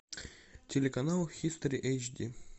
телеканал хистори эйч ди